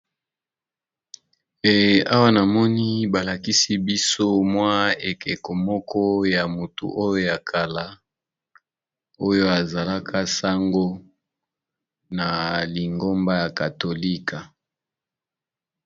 e awa na moni balakisi biso mwa ekeko moko ya motu oyo ya kala oyo azalaka sango na lingomba ya katolika